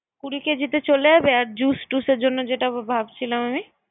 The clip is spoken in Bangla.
কুড়ি কেজিতে চলে আবে। জুস টুস এর জন্য যেটা ভাবছিলাম আমি